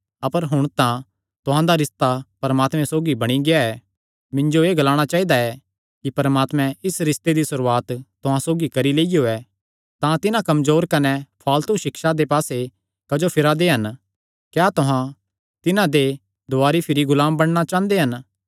अपर हुण तां तुहां दा रिस्ता परमात्मे सौगी बणी गेआ ऐ मिन्जो एह़ ग्लाणा चाइदा कि परमात्मैं इस रिस्ते दी सुरुआत तुहां सौगी करी लियो ऐ तां तिन्हां कमजोर कने फ़ालतू सिक्षां दे पास्से क्जो फिरा दे हन क्या तुहां तिन्हां दे दुवारी भिरी गुलाम बणना चांह़दे हन